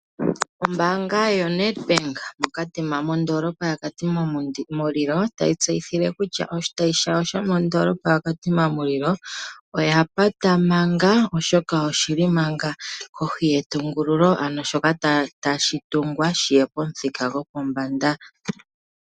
Ombaanga yoNedbank mokatima modoolopa ya katima mulilo otayi tseyithile kutya, oshitayi shawo sho modoolopa ya katima mulilo oya pata manga, oshoka oshili manga kohi yetungululo ano shoka tashi tungwa shiye pomithika gopombanda.